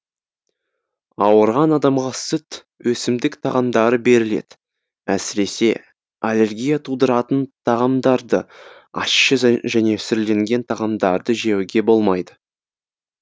ауырған адамға сүт өсімдік тағамдары беріледі әсіресе аллергия тудыратын тағамдарды ащы және сүрленген тағамдарды жеуге болмайды